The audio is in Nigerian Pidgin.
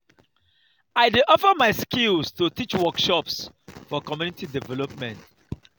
i dey offer my skills to teach workshops for community development.